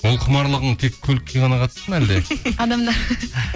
ол құмарлығың тек көлікке ғана қатысты ма әлде адамдар